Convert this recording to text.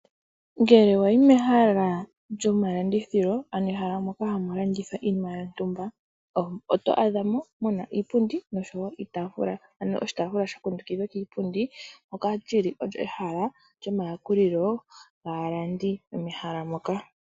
Ngele wayi mehala lyomalandithilo ano ehala moka hamu landithwa iinima yontumba oto adhamo muna iipundi noshowo iitafula. Ano oshitafula sha kundukidhwa kiipundi moka lyili olyo ehala lyo mayakulilo gaalandi mehala moka.